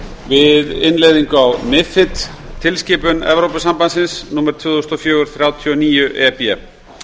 við innleiðingu á mifid tilskipun evrópusambandsins númer tvö þúsund og fjögur þrjátíu og níu e b